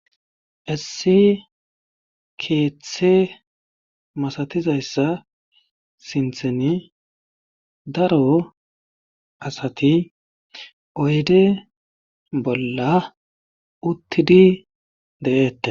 Issi keeththe masatizayssa sintheni daro asati oyde bolla uttidi de7eetta.